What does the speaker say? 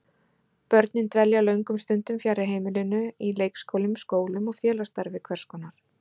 Börnin dvelja löngum stundum fjarri heimilinu, í leikskólum, skólum og félagsstarfi hvers konar.